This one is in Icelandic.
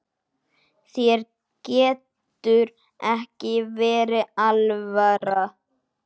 Þér getur ekki verið alvara.